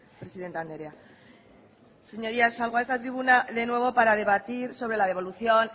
presidente andrea señorías salgo a esta tribuna de nuevo para debatir sobre la devolución